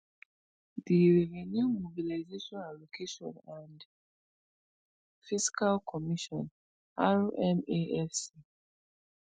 di revenue mobilisation allocation and fiscal commission rmafc